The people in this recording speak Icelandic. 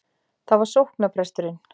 Það var sóknarpresturinn.